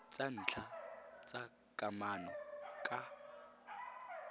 tsa ntlha tsa kamano ka